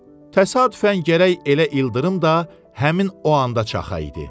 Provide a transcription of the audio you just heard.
Təsadüfən gərək elə ildırım da həmin o anda çaxa idi.